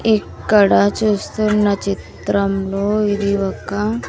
ఇక్కడ చూస్తున్న చిత్రంలో ఇది ఒక.